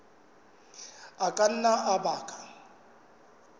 a ka nna a baka